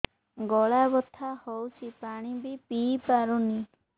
ଗଳା ବଥା ହଉଚି ପାଣି ବି ପିଇ ପାରୁନି